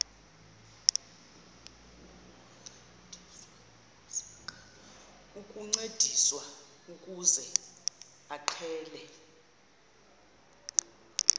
ukuncediswa ukuze aqale